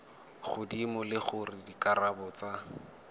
godimo le gore dikarabo tsa